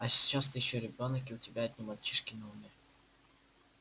а сейчас ты ещё ребёнок и у тебя одни мальчишки на уме